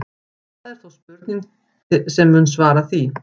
Það er þó til spurning sem mun svara því.